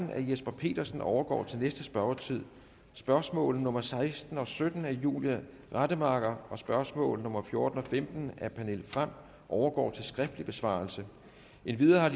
herre jesper petersen overgår til næste spørgetid spørgsmål nummer seksten og sytten af fru julie rademacher og spørgsmål nummer fjorten og femten af fru pernille frahm overgår til skriftlig besvarelse endvidere har